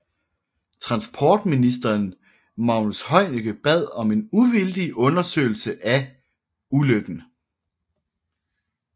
Transportministeren Magnus Heunicke bad om en uvildig undersøgelse af ulykken